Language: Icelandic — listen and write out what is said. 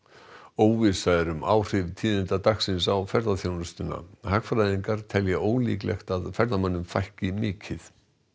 óvissa er um áhrif tíðinda dagsins á ferðaþjónustuna hagfræðingar telja ólíklegt að ferðamönnum fækki mikið